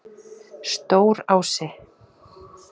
Stórási